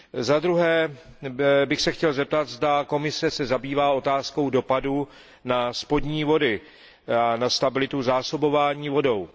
Zadruhé bych se chtěl zeptat, zda se Komise zabývá otázkou dopadu na spodní vody a na stabilitu zásobování vodou.